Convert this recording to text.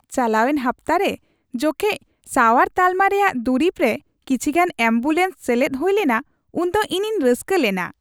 ᱪᱟᱞᱟᱣᱮᱱ ᱦᱟᱯᱛᱟ ᱨᱮ ᱡᱚᱠᱷᱮᱡ ᱥᱟᱶᱟᱨ ᱛᱟᱞᱢᱟ ᱨᱮᱭᱟᱜ ᱫᱩᱨᱤᱵᱽ ᱨᱮ ᱠᱤᱪᱷᱤ ᱜᱟᱱ ᱮᱹᱢᱵᱩᱞᱮᱱᱥ ᱥᱮᱞᱮᱫ ᱦᱩᱭ ᱞᱮᱱᱟ ᱩᱱ ᱫᱚ ᱤᱧᱤᱧ ᱨᱟᱹᱥᱠᱟᱹ ᱞᱮᱱᱟ ᱾